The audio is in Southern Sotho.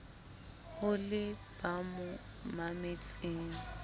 ho le ba mo mametseng